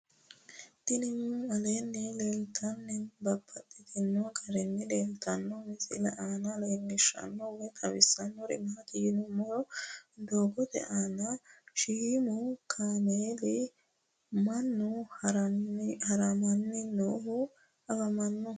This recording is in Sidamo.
Tinni aleenni leelittannotti babaxxittinno garinni leelittanno misile maa leelishshanno woy xawisannori maattiya yinummoro doogotte aanna shiimmu kameelinna mannu harammanni noohu afammanno